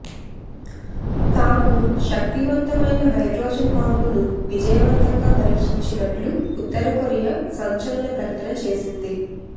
తాము శక్తివంతమైన హైడ్రోజన్ బాంబును విజయవంతంగా పరీక్షించినట్లు ఉత్తరకొరియా సంచలన ప్రకటన చేసింది